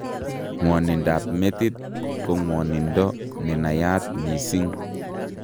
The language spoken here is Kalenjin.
Ng'wonindab metit ko ng'wonindo nenaiyat mising'